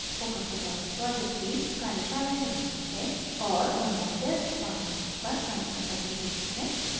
spoken tutorial project team: कार्यशालाएं चालती है और ऑनलाइन टेस्ट पास करने पर प्रमाणपत्र देती है